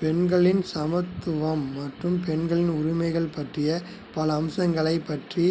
பெண்களின் சமத்துவம் மற்றும் பெண்கள் உரிமைகள் பற்றிய பல அம்சங்களைப் பற்றி